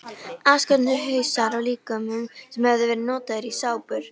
Afskornir hausar af líkömum sem höfðu verið notaðir í sápur.